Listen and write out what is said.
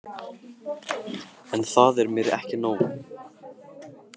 En það er mér ekki nóg.